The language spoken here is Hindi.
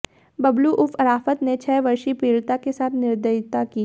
बबलू उर्फ अराफात ने छह वर्षीय पीडि़ता के साथ निर्दयता की